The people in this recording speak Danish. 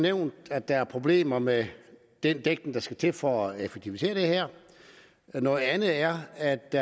nævnt at der er problemer med den dækning der skal til for at effektivisere det her noget andet er at det